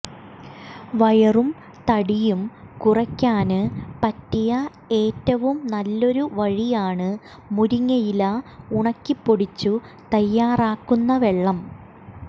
വയറും തടിയും കുറയ്ക്കാന് പറ്റിയ ഏറ്റവും നല്ലൊരു വഴിയാണ് മുരിങ്ങയില ഉണക്കിപ്പൊടിച്ചു തയ്യാറാക്കുന്ന വെള്ളം